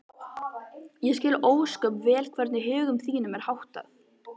Ég skil ósköp vel hvernig högum þínum er háttað.